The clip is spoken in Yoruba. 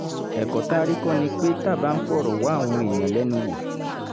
ẹ̀kọ́ tá a rí kọ́ ni pé tá a bá ń fọ̀rọ̀ wá àwọn èèyàn lẹ́nu wò